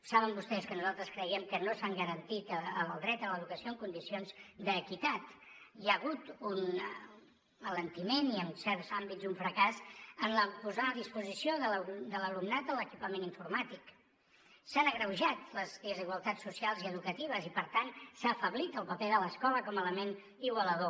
saben vostès que nosaltres creiem que no s’ha garantit el dret a l’educació en condicions d’equitat hi ha hagut un alentiment i en certs àmbits un fracàs en posar a disposició de l’alumnat l’equipament informàtic s’han agreujat les desigualtats socials i educatives i per tant s’ha afeblit el paper de l’escola com a element igualador